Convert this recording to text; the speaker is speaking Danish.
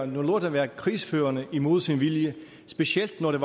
lort at være krigsførende imod sin vilje specielt når det